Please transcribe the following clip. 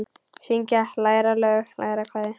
Syngja- læra lög- læra kvæði